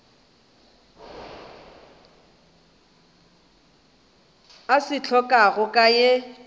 a se hlokago ka ye